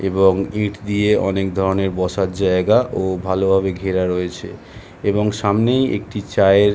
এবং ইট দিয়ে অনেক ধরণের বসার জায়গা ও ভালো ভাবে ঘেরা রয়েছে এবং সামনেই একটি চায়ের --